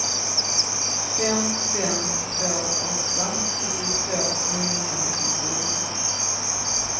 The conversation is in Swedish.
fem fem två åtta sjuttiotvå niohundranittiofyra